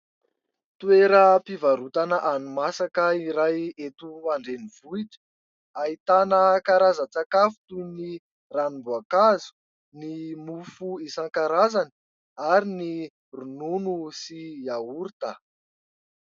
Toeram-pivarotana hani-masaka iray eto an-drenivohitra, ahitana karazan-tsakafo toy ny ranom-boankazo, ny mofo isan-karazany ary ny ronono sy iaorita.